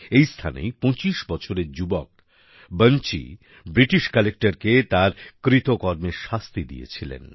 এই স্থানেই ২৫ বছরের যুবক বাঞ্চি ব্রিটিশ কালেক্টরকে তার কৃতকর্মের শাস্তি দিয়েছিলেন